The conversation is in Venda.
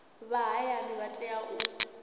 vha hayani vha tea u